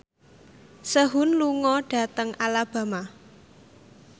Sehun lunga dhateng Alabama